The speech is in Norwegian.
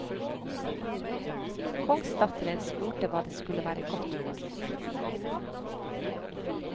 Kongsdatteren spurte hva det skulle være godt for.